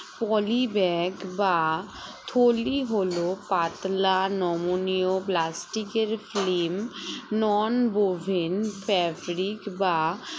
poly bag বা থলি হলো পাতলা নমনীয় plastic এর film non oven fabric বা